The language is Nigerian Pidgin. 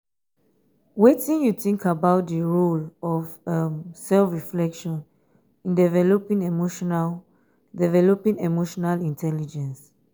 wetin you think about di role um of um self-reflection in developing emotional developing emotional intelligence?